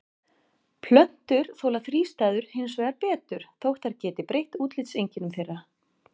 Plöntur þola þrístæður hins vegar betur þótt þær geti breytt útlitseinkennum þeirra.